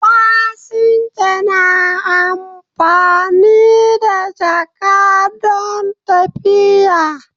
Fasinja na amfani da jaka don tafiya.